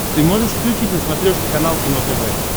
ты можешь включить на смотрешке канал кино тв